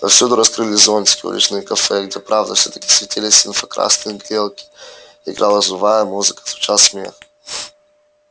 повсюду раскрыли зонтики уличные кафе где правда всё-таки светились инфракрасные грелки играла живая музыка звучал смех